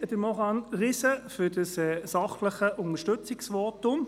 Merci an Maurane Riesen für das sachliche Unterstützungsvotum.